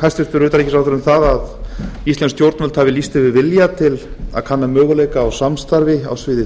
hæstvirtur utanríkisráðherra um það að íslensk stjórnvöld hafi lýst yfir vilja til að kanna möguleika á samstarfi á sviði